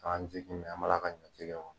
K'an sigi an bala ka ɲɔtigɛ kɔnɔ.